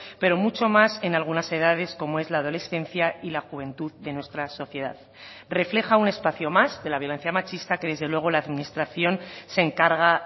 pero mucho más en algunas edades como es la adolescencia y la juventud de nuestra sociedad refleja un espacio más de la violencia machista que desde luego la administración se encarga